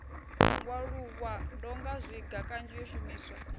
ngwaluwa ndongazwiga kanzhi yo shumiswa